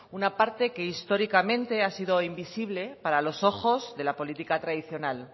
una parte que históricamente ha sido invisible para los ojos de la política tradicional